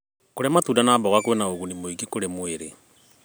Kũrĩa matunda na mboga kwĩna ũguni mũingĩ kũrĩ mwĩrĩ.